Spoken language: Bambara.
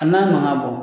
A n'a mankan bɔ